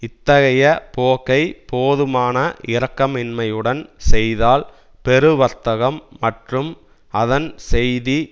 இத்தகைய போக்கை போதுமான இரக்கமின்மையுடன் செய்தால் பெருவர்த்தகம் மற்றும் அதன் செய்தி